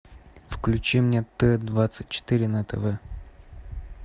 включи мне т двадцать четыре на тв